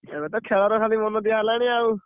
ଏବେ ତ ଖେଳରେ ଖାଲି ମନ ଦିଅ ହେଲାଣି ଆଉ।